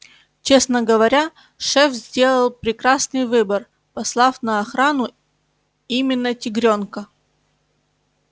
честно говоря шеф сделал прекрасный выбор послав на охрану именно тигрёнка